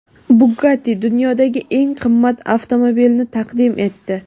Bugatti dunyodagi eng qimmat avtomobilni taqdim etdi.